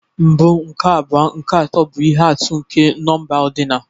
Mbụ, nke abụọ, nke atọ, bụ ihe atụ nke nọmba odinal.